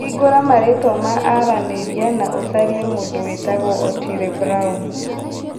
Hingũra marĩtwa ma aranĩria na ũcarie mũndũ wĩtagwo Otile Brown